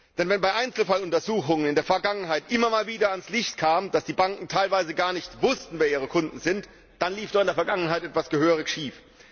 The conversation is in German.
Denn wenn bei Einzelfalluntersuchungen in der Vergangenheit immer mal wieder ans Licht kam, dass die Banken teilweise gar nicht wussten, wer ihre Kunden sind, dann lief dort etwas gehörig schief.